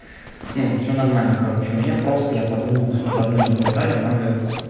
ну все нормально короче у меня просто я подумал что давно не болтали надо